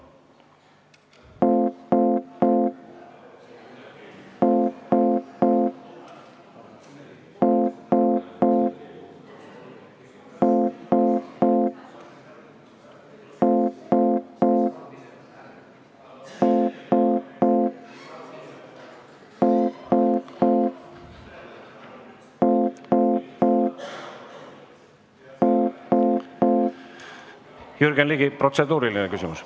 Jürgen Ligi, protseduuriline küsimus.